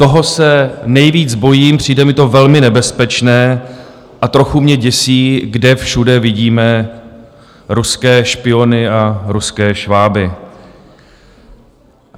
Toho se nejvíc bojím, přijde mi to velmi nebezpečné a trochu mě děsí, kde všude vidíme ruské špiony a ruské šváby.